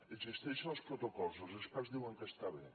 existeixen els protocols els experts diuen que estan bé